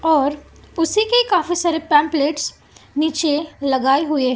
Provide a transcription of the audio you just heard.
और उसी के काफी सारे पंपलेट्स नीचे लगाए हुए--